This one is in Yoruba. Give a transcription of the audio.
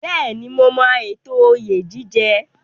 Bẹ́ẹ̀ni, mo mọ ètò oyè jíjẹ.